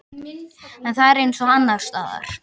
En það er eins og annarsstaðar.